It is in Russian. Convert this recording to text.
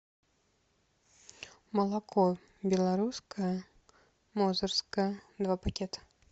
молоко белорусское мозырское два пакета